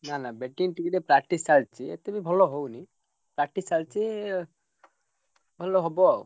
ନା ନା batting ଟିକେ ଟିକେ practice ଚାଲଚି ଏତେ ବି ଭଲ ହଉନି। practice ଚାଲଚି। ଭଲ ହବ ଆଉ।